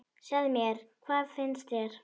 Segðu mér, hvað finnst þér?